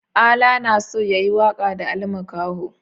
Ala na so ya yi waƙa da Ali Makaho.